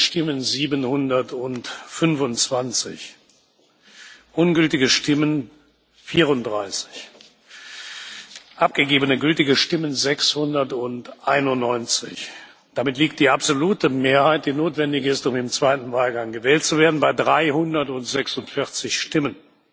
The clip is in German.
Abgegebene Stimmen 725 Ungültige Stimmen 34 Abgegebene gültige Stimmen 691 Damit liegt die absolute Mehrheit, die notwendig ist, um im zweiten Wahlgang gewählt zu werden, bei 346 Stimmen.